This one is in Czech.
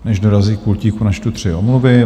Než dorazí k pultíku, načtu tři omluvy.